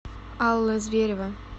алла зверева